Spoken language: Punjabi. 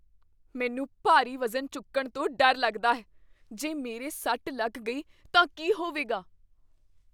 ਮੈਨੂੰ ਭਾਰੀ ਵਜ਼ਨ ਚੁੱਕਣ ਤੋਂ ਡਰ ਲੱਗਦਾ ਹੈ। ਜੇ ਮੇਰੇ ਸੱਟ ਲੱਗ ਗਈ ਤਾਂ ਕੀ ਹੋਵੇਗਾ?